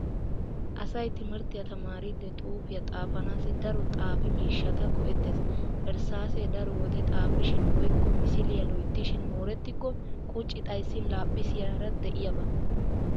Asay timirttiya tamaariiddi xuufiya xaafanaassi daro xaafi miishshata go'ettees Erssaasee daro wode xaafishin woykko misiliya loyttishin moorettikko qucci xayssiya laaphphisiyara de'iyaba.